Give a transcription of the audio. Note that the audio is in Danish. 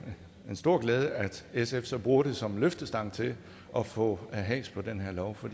en stor glæde at sf så bruger det som løftestang til at få has på den her lov for